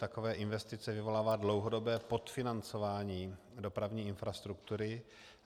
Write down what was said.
Takové investice vyvolává dlouhodobé podfinancování dopravní infrastruktury.